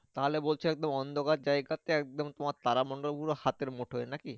তাহলে বলছো একদম অন্ধকার জায়গাতে একদম তোমার তারামণ্ডল গুলো হাতের মুঠোয় না কি?